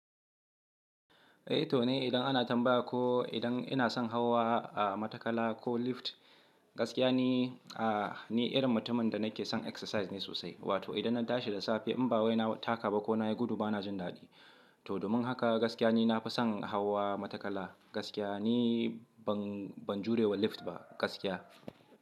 Eh to ne idan ana tambaya ko idan ina son hawa a matakala ko lift, gaskiya ne, ni irin mutumin da nake son exercise ne sosai. Wato idan na tashi da safe in ba wai na taka ba ko na yi gudu bana jin daɗi. To domin haka gaskiya ne na fi son hawa matakala. Gaskiya ne ban, ban jurewa lift ba gaskiya.